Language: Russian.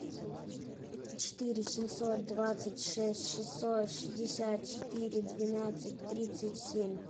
четыре семьсот двадцать шесть шестьсот шестьдесят четыре двенадцать тридцать семь